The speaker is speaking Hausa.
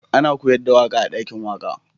Ana koyars da waka a'dakin waka.